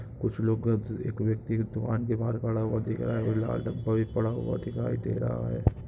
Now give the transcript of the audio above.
कुछ लोग व्यक्ति एक व्यक्ति दुकान के बाहर खड़ा हुआ दिख रहा हैं वह लाल डब्बा भी पड़ा हुआ दिखाई दे रहा हैं।